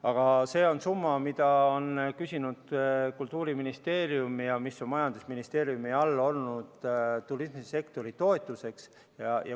Aga see on summa, mida on küsinud Kultuuriministeerium ja mis on olnud majandusministeeriumi all turismisektori toetuseks.